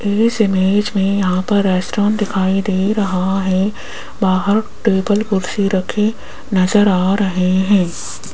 इस इमेज में यहां पर रेस्टोरेंट दिखाई दे रहा है बाहर टेबल कुर्सी रखें नजर आ रहे हैं।